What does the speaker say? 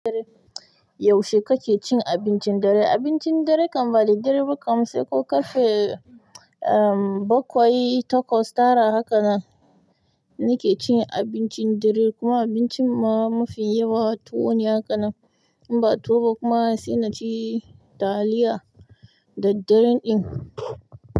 Yaushe kake cin abincin dare? Abincin dare kan ba daddare ba kam, sai ko ƙarfe, um, baƙwai, taƙwas, tara, haka nan nake cin abincin dare, kuma abincin ma mafi yawa tuwo ne hakan nan. In ba tuwo ba kuma sai na ci taliya daddaren din.